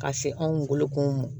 Ka se anw bolo kunu m